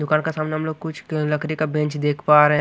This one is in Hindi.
दुकान का सामने हम लोग कुछ कं लकड़ी का बेंच देख पा रहे--